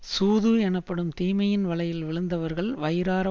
சூது எனப்படும் தீமையின் வலையில் விழுந்தவர்கள் வயிறார